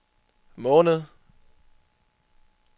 måned